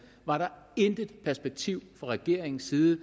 intet perspektiv fra regeringens side